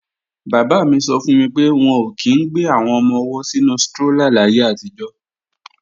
Bàbá mi sọ fún mi pé wọn ò kí í ń gbé àwọn ọmọ-ọwọ́ sínu strólà láyé àtijọ́